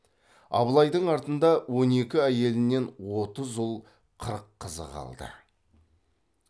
абылайдың артында он екі әйелінен отыз ұл қырық қызы қалды